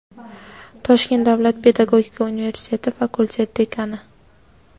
Toshkent davlat pedagogika universiteti fakultet dekani;.